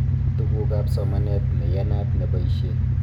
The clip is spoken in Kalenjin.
Tugukab somanet neyatat neboishe